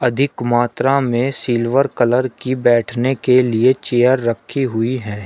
अधिक मात्रा में सिल्वर कलर की बैठने के लिए चेयर रखी हुई हैं।